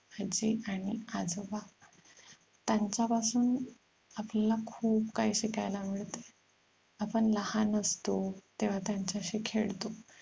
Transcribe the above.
आजी आणि आजोबा यांच्या पासून आपल्यला खूप काही शिकायला मिळते आपण लहान असतो तेव्हा त्यांच्याशी खेळतो